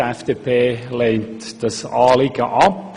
Die FDP-Fraktion lehnt dieses Anliegen ab.